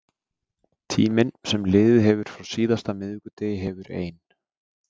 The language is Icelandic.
Tíminn sem liðið hefur frá síðasta miðvikudegi hefur ein